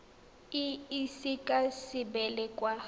e ise ka sebele kwa